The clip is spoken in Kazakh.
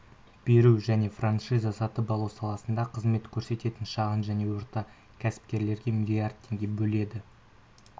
беру және франшиза сатып алу саласында қызмет көрсететін шағын және орта кәсіпкерлерге миллиард теңге бөледі